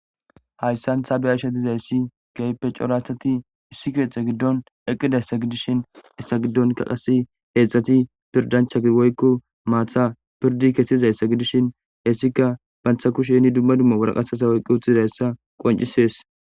hayssan taabeyasha dizayssi keyipe coratati issi keexe giddon eqqidayssa gidishin essa giddonka qasi heezhzhati pirdanchai woykko maatha pirdi kesizayssa gidishin hessika bantha kushenni dumma dumma waraqaata oyiqqo utizizayssa qoncisees